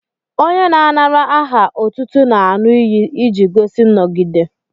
Onye na-anara aha otútú n'aṅu iyi iji gosi nnọgide